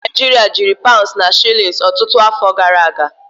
Ndị Naịjirịa jiri paụnds na shilins ọtụtụ afọ gara aga.